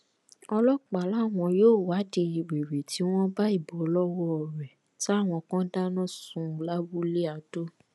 ọlọpàá làwọn yóò wádìí wẹrẹ tí wọn bá ìbò lọwọ rẹ táwọn kan dáná sun lábúlé adó